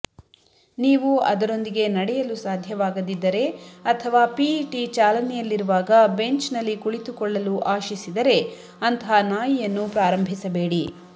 ನೀವು ಅದರೊಂದಿಗೆ ನಡೆಯಲು ಸಾಧ್ಯವಾಗದಿದ್ದರೆ ಅಥವಾ ಪಿಇಟಿ ಚಾಲನೆಯಲ್ಲಿರುವಾಗ ಬೆಂಚ್ನಲ್ಲಿ ಕುಳಿತುಕೊಳ್ಳಲು ಆಶಿಸಿದರೆ ಅಂತಹ ನಾಯಿಯನ್ನು ಪ್ರಾರಂಭಿಸಬೇಡಿ